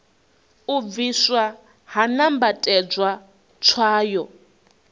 u bvisiwa ha nambatedzwa tswayo